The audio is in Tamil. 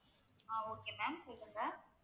ஆஹ் okay ma'am சொல்லுங்க.